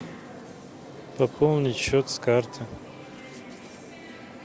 пополнить счет с карты